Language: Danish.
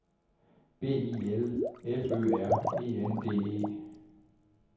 B I L F Ø R E N D E